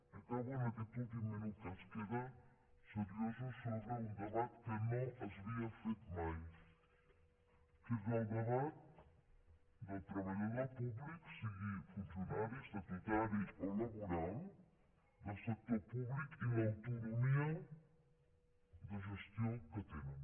i acabo en aquest últim minut que ens queda seriosos sobre un debat que no s’havia fet mai que és el debat dels treballadors públics sigui funcionari estatutari o laboral del sector públic i l’autonomia de gestió que tenen